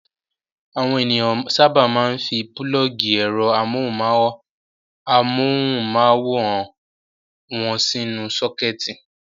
Àwọn ènìyàn sábà máa ń fi pulọ́ọ́gì ẹ̀rọ amóhùmáwòhán wọn sínú sọ́kẹ́tì.